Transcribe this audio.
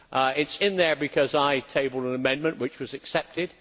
It is in there because I tabled an amendment, which was accepted.